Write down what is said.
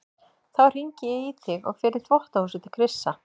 Þá hringi ég í þig og fer í þvottahúsið til Krissa.